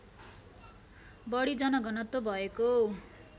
बढी जनघनत्व भएको